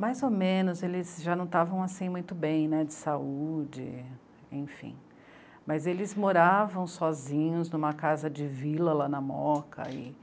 mais ou menos, eles já não estavam assim, muito bem de saúde, enfim, mas eles moravam sozinhos em uma casa de vila lá na Moca e